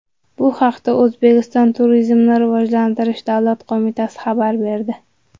Bu haqda O‘zbekiston Turizmni rivojlantirish davlat qo‘mitasi xabar berdi .